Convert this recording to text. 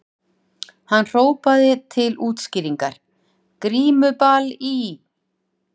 Hann hrópaði til útskýringar:- Grímuball í